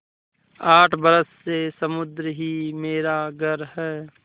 आठ बरस से समुद्र ही मेरा घर है